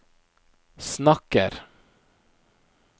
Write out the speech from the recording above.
snakker